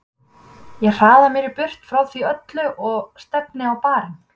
Ég hraða mér burt frá því öllu og stefni á barinn.